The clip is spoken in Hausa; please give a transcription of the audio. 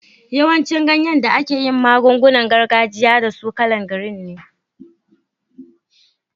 Yawancin ganyen da ake yin magun-gunan gargajiya da su kala'n girin ne.